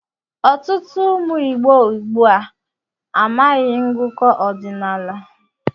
Ọtụtụ ụmụ Ìgbo ugbu a amaghị ngụkọ ọdinaala.